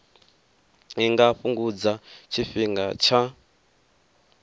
i nga fhungudza tshifhinga tsha